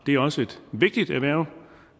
er også et vigtigt erhverv